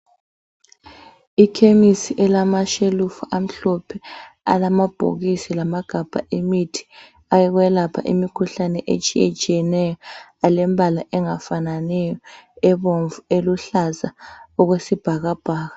Ikhemisi elamashelufu amhlophe alamabhokisi lamagabha emithi awokwelapha imikhuhlane etshiyetshiyeneyo alembala engafananiyo ebomvu, eluhlaza okwesibhakabhaka.